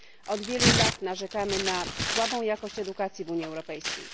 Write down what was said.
Od wielu lat narzekamy na słabą jakość edukacji w Unii Europejskiej.